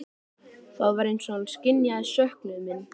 Það var eins og hann skynjaði söknuð minn.